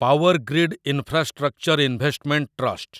Powergrid infrastructure investment trust